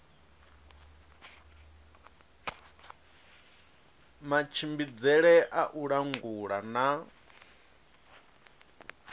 matshimbidzele a u langula na